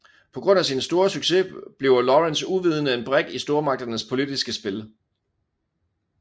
På grund af sin store succes bliver Lawrence uvidende en brik i stormagternes politiske spil